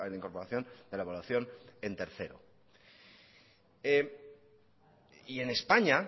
incorporación de la evaluación en tercero y en españa